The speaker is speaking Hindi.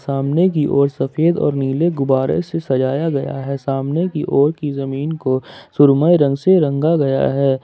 सामने की और सफेद और नीले गुब्बारे से सजाया गया है सामने की ओर की जमीन को सुरमई रंग से रंगा गया है।